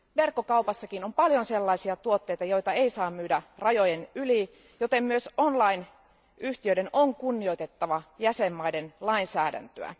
Verkkokaupassakin on paljon sellaisia tuotteita, joita ei saa myydä rajojen yli, joten myös online yhtiöiden on kunnioitettava jäsenvaltioiden lainsäädäntöä.